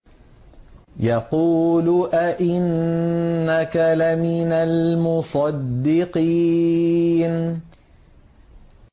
يَقُولُ أَإِنَّكَ لَمِنَ الْمُصَدِّقِينَ